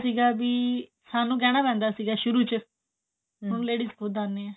ਕਿਤੇ ਸੀਗਾ ਵੀ ਸਾਨੂੰ ਕਹਿਣਾ ਪੈਂਦਾ ਸੀ ਸ਼ੁਰੂ ਚ ਹੁਣ ladies ਖੁਦ ਆਂਦਿਆ ਨੇ